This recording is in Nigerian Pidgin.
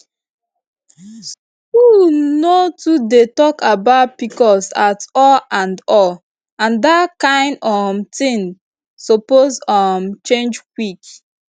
school no too dey talk about pcos at all and all and that kain um tin suppose um change quick